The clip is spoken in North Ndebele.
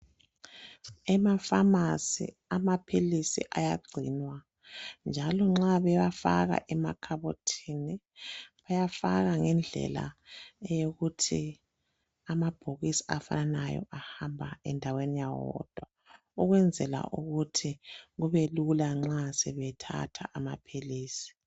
Emafamasi amaphilisi ayagcinwa njalo nxa bewafaka emakhabothini bayafaka ngendlela eyokuthi amabhokisi afanayo ahamba endaweni yawo wodwa ukwenzela ukuthi kubelula nxa sebethatha amaphilisi.